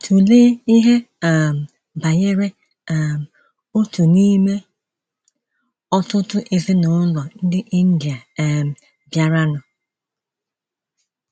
Tụlee ihe um banyere um otu n’ime ọtụtụ ezinụlọ ndị India um bịaranụ.